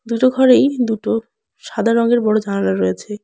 দুটো ঘরেই দুটো সাদা রংয়ের বড় জালনা রয়েছে।